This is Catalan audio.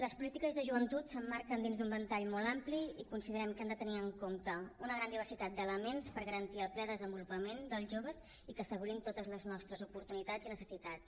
les polítiques de joventut s’emmarquen dins d’un ventall molt ampli i considerem que hem de tenir en compte una gran diversitat d’elements per garantir el ple desenvolupament dels joves i que assegurin totes les nostres oportunitats i necessitats